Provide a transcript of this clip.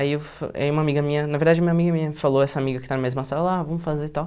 Aí eu aí uma amiga minha, na verdade, uma amiga minha me falou, essa amiga que está na mesma sala, ah, vamos fazer e tal.